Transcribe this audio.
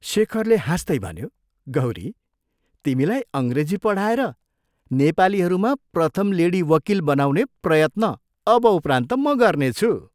शेखरले हाँस्तै भन्यो, "गौरी, तिमीलाई अंग्रेजी पढाएर नेपालीहरूमा प्रथम लेडी वकील ' बनाउने प्रयत्न अब उपरान्त म गर्नेछु।